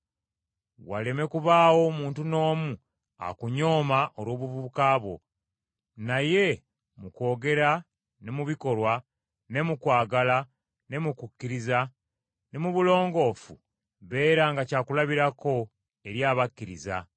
Waleme kubaawo muntu n’omu akunyooma olw’obuvubuka bwo, naye mu kwogera ne mu bikolwa, ne mu kwagala, ne mu kukkiriza, ne mu bulongoofu beeranga kyakulabirako eri abakkiriza.